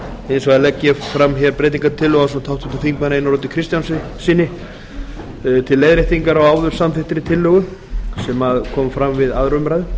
hins vegar legg ég fram breytingartillögu ásamt háttvirtum þingmanni einari oddi kristjánssyni til leiðréttingar á áður samþykktri tillögu sem kom fram við aðra umræðu